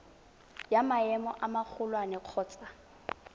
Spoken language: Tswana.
wa maemo a magolwane kgotsa